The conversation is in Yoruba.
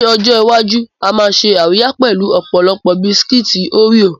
Ní ọjọ́ iwájú, a máa ṣe àríyá pẹ̀lú ọ̀pọ̀lọpọ̀ bisikí óríò.